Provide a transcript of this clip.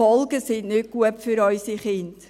Die Folgen sind nicht gut für unsere Kinder.